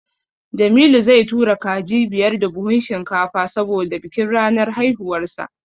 Jamilu zai tura kaji biyar da buhun shinkafa saboda bikin ranar haihuwarsa.